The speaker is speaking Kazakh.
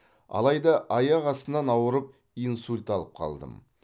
алайда аяқ астынан ауырып инсульт алып қалдым